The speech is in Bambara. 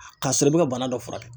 K'a sɔrɔ i bɛ ka bana dɔ furakɛ.